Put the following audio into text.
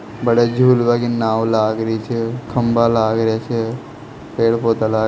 बड़े झूलवा की नाव लाग री छे खम्बा लाग रेहा छे पेड़ पौधा लाग --